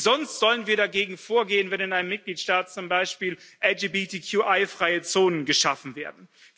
Wie sonst sollen wir dagegen vorgehen, wenn in einem Mitgliedstaat zum Beispiel LGBTQI freie Zonen geschaffen werden?